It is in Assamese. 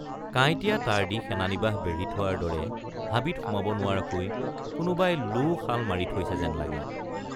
কাইটীয়া তাঁৰ দি সেনানিবাস বেঢ়ি থোৱাৰ দৰে হাবিত সোমাব নোৱাৰাকৈ কোনোবাই লোশাল মাৰি থৈছে যেন লাগে।